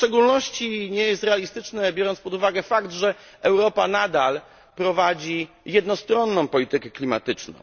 W szczególności nie jest realistyczne, biorąc pod uwagę fakt, że Europa nadal prowadzi jednostronną politykę klimatyczną.